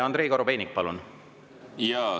Andrei Korobeinik, palun!